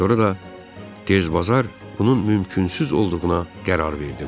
Sonra da tez-bazar bunun mümkünsüz olduğuna qərar verdim.